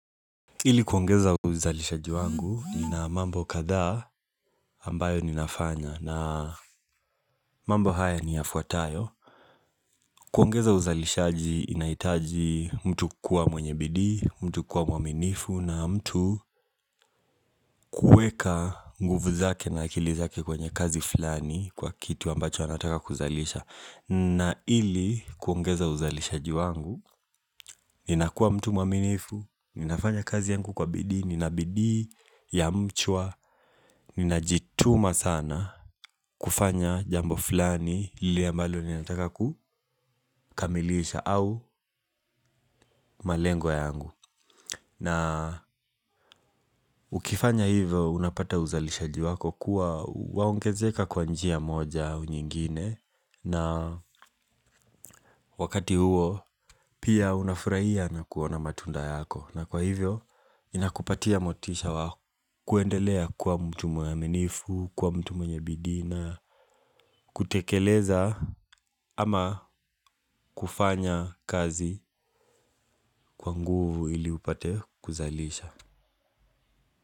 Ili kuongeza uzalishaji wangu nina mambo kadha ambayo ninafanya na mambo haya ni yafuatayo. Kuongeza uzalishaji inahitaji mtu kuwa mwenye bidii, mtu kuwa mwaminifu na mtu kuweka nguvu zake na akili zake kwenye kazi fulani kwa kitu ambacho anataka kuzalisha. Na ili kuongeza uzalishaji wangu, ninakuwa mtu mwaminifu, ninafanya kazi yangu kwa bidii, nina bidii ya mchwa, ninajituma sana kufanya jambo fulani lile ambalo ninatakakukamilisha au malengo yangu. Na ukifanya hivyo unapata uzalishaji wako kuwa waongezeka kwa njia moja au nyingine na wakati huo pia unafurahia na kuona matunda yako na kwa hivyo inakupatia motisha wa kuendelea kuwa mtu mwenye uaminifu, kuwa mtu mwenye bidii na, kutekeleza ama kufanya kazi kwa nguvu ili upate kuzalisha.